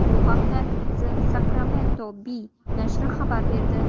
Bu haqda The Sacramento Bee nashri xabar berdi .